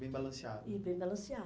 Bem balanceado. Bem